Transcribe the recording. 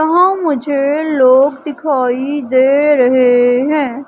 यहां मुझे लोग दिखाइ दे रहे है।